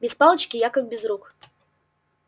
без палочки я как без рук